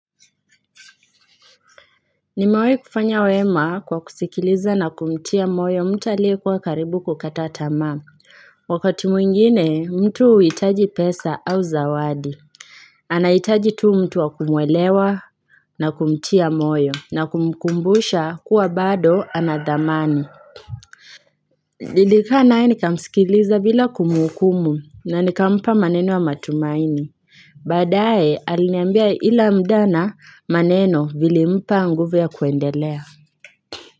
Nimewai kufanya wema kwa kusikiliza na kumtia moyo mtu aliyekuwa karibu kukata tamaa wakati mwingine mtu huitaji pesa au zawadi anahitaji tu mtu wa kumwelewa na kumtia moyo na kumkumbusha kuwa bado ana thamani nilikaa naye nikamsikiliza bila kumhukumu na nikampa maneno ya matumaini baadaye aliniambia ila mda na maneno vilimpa nguvu ya kuendelea.